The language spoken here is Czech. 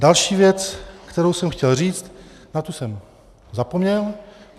Další věc, kterou jsem chtěl říct, na tu jsem zapomněl.